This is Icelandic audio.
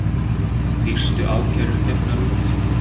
Fyrstu ákærur gefnar út